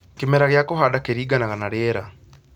Kĩmera gĩa kũhanda kĩringanaga na rĩera